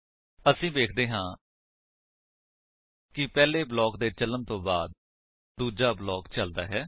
ਅਸੀ ਵੇਖਦੇ ਹਾਂ ਕਿ ਪਹਿਲੇ ਬਲਾਕ ਦੇ ਚਲਨ ਤੋ ਬਾਅਦ ਦੂਜਾ ਚਲਦਾ ਹੈ